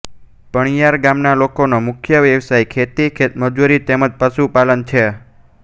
પણિયાર ગામના લોકોનો મુખ્ય વ્યવસાય ખેતી ખેતમજૂરી તેમ જ પશુપાલન છે